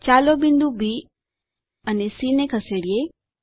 ચાલો બિંદુ બી અને સી ને ખસેડીએ